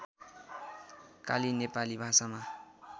काली नेपाली भाषामा